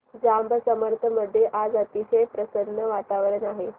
जांब समर्थ मध्ये आज अतिशय प्रसन्न वातावरण आहे